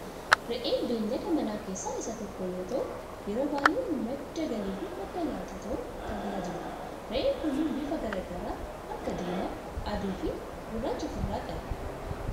Re'een beellada manaa keessaa isa tokko yoo ta'u yeroo baayyee madda galii fi madda nyaataa ta'un kan tajaajiludha. Re'een kunneen bifa garaa garaa akka diimaa, adii fi gurraacha of irraa qabu.